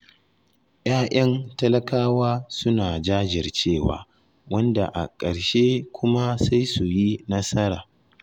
Ya'yan talakawa suna jajircewa, wanda a ƙarshe kuma sai su yi nasara.